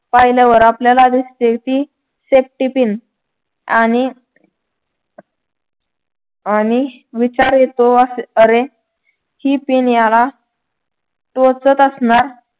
पाहिल्यावर आपल्याला दिसते कि safety pin आणि आणिविचार येतो अरे हि pin याला टोचत असणार